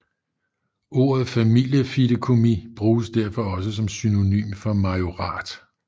Ordet familiefideikommis bruges derfor også som synonym for majorat